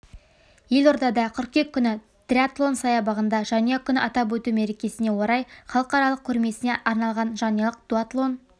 елордада қыркүйек күні триатлон саябағында жанұя күнін атап өту мерекесіне орай халықаралық көрмесіне арналған жанұялық дуатлон